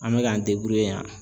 An bɛ k'an yan.